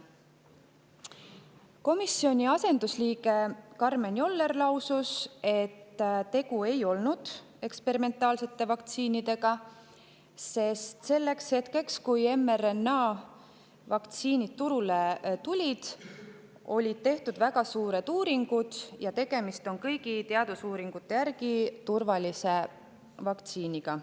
Komisjoni asendusliige Karmen Joller lausus, et tegu ei olnud eksperimentaalsete vaktsiinidega, sest selleks hetkeks, kui mRNA-vaktsiinid turule tulid, olid tehtud väga uuringud ja tegemist on kõigi teadusuuringute järgi turvalise vaktsiiniga.